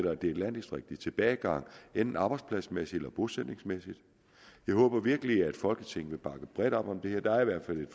at det er et landdistrikt i tilbagegang enten arbejdspladsmæssigt eller bosætningsmæssigt jeg håber virkelig at folketinget bakker bredt om det her der er i hvert fald